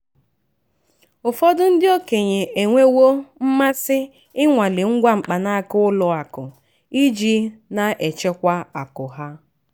ụfọdụ ndị okenye enwewo mmasị ịnwale ngwa mkpanaaka ụlọakụ iji na-achịkwa akụ ha.